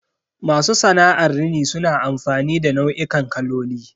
Masu sana'ar rini suna amfani da nau'ikan kaloli.